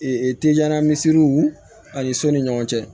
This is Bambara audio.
teliya misisiriw ani so ni ɲɔgɔn cɛ